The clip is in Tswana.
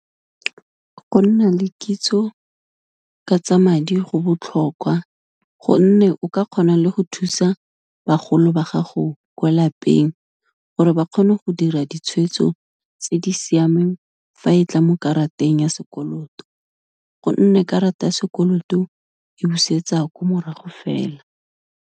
Go nna le kitso ka tsa madi go botlhokwa gonne, o ka kgona le go thusa bagolo ba gago kwa lapeng gore ba kgone go dira ditshwetso tse di siameng fa e tla mo karateng ya sekoloto, gonne karata ya sekoloto, e busetsa ko morago fela.